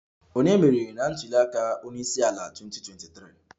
Ònye meriri na ntuli aka onye isi ala 2023?